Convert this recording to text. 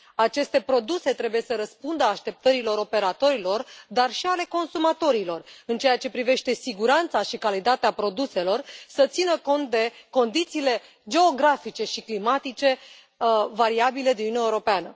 Aceste produse trebuie să răspundă așteptărilor operatorilor, dar și ale consumatorilor în ceea ce privește siguranța și calitatea produselor, să țină cont de condițiile geografice și climatice variabile din Uniunea Europeană.